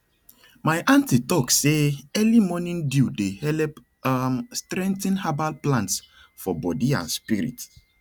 my aunty talk say early morning dew dey help um strengthen herbal plants for body and spirit